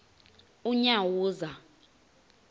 unyawuza